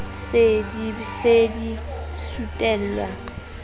be di se di sutelwa